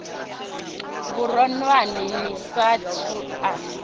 vhuronwane ni sa athu u